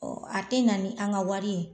Ɔɔ a te na ni an ka wari ye ?